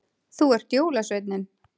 Þú ert jólasveinninn